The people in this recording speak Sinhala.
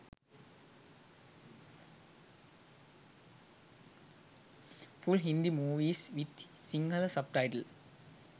full hindi movies with sinhala subtitle